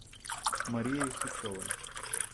марией сычевой